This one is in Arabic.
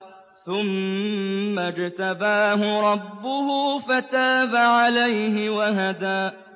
ثُمَّ اجْتَبَاهُ رَبُّهُ فَتَابَ عَلَيْهِ وَهَدَىٰ